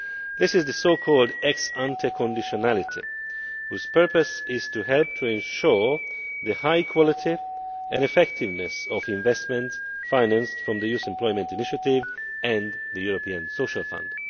This is the so called ex ante conditionality, whose purpose is to help to ensure the high quality and effectiveness of investments financed from the Youth Employment Initiative and the European Social Fund.